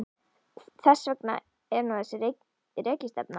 Þess vegna er nú þessi rekistefna.